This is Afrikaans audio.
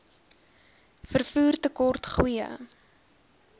vervoer tekort goeie